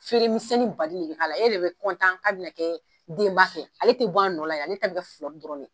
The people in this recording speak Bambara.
Feere minsɛnin baden de bɛ k'a la, yarɔ i bɛ ka bɛ na kɛ denba fɛ ale tɛ b'a nɔ la yan, ale ta bɛ kɛ dɔrɔn de ye.